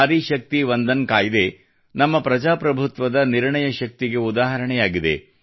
ನಾರಿ ಶಕ್ತಿ ವಂದನ ಕಾಯ್ದೆ ನಮ್ಮ ಪ್ರಜಾಪ್ರಭುತ್ವದ ನಿರ್ಣಯ ಶಕ್ತಿಗೆ ಉದಾಹರಣೆಯಾಗಿದೆ